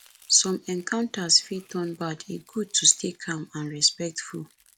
some encounters fit turn bad e good to stay calm and respectful